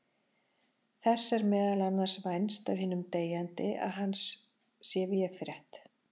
Þess er meðal annars vænst af hinum deyjandi að hann sé véfrétt.